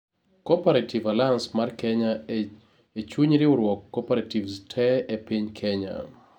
Cooperative alliance mar kenya ee chuny riwruoge cooperatives tee ee piny Kenya